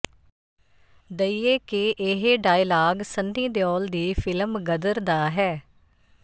ਦਈਏ ਕਿ ਇਹ ਡਾਇਲਾਗ ਸੰਨੀ ਦਿਉਲ ਦੀ ਫਿਲਮ ਗਦਰ ਦਾ ਹੈ